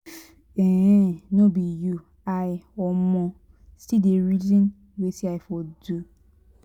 if um no be you i um still dey reason wetin i for do.